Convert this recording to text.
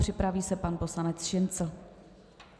Připraví se pan poslanec Šincl.